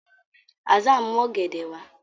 Hassan n mu ògèdè wá.